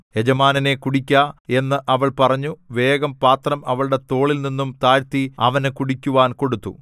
യജമാനനേ കുടിക്ക എന്ന് അവൾ പറഞ്ഞു വേഗം പാത്രം അവളുടെ തോളിൽനിന്നും താഴ്ത്തി അവന് കുടിക്കുവാൻ കൊടുത്തു